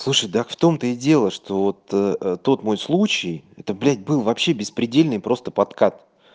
слушай так в том-то и дело что вот тот мой случай это блять был вообще беспредельный просто подкат